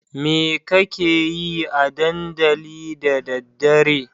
Me kakeyi a dandali da daddare?